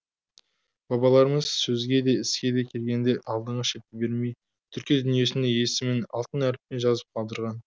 бабаларымыз сөзге де іске де келгенде алдыңғы шепті бермей түркі дүниесінде есімін алтын әріптемен жазып қалдырған